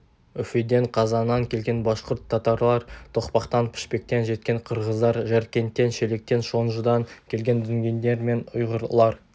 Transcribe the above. үфеден қазаннан келген башқұрт татарлар тоқпақтан пішпектен жеткен қырғыздар жәркенттен шелектен шонжыдан келген дүнгендер мен ұйғырлар